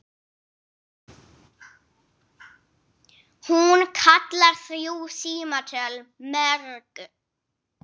Hún kallar þrjú símtöl mörg.